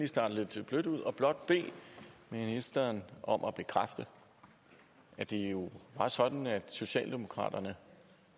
starte lidt blødt ud og blot bede ministeren om at bekræfte at det jo var sådan at socialdemokraterne